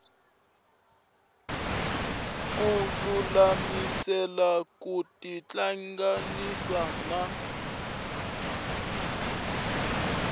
ku lulamisela ku tihlanganisa na